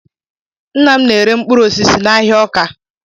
Nna m na-ere mkpụrụ osisi n'ahịa Ọka.